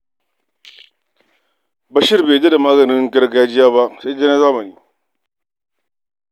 Bashir bai yarda da maganin gargajiya ba, sai dai na zamani.